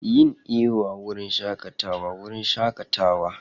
Yin iyo a wurin shakatawa wurin shakatawa.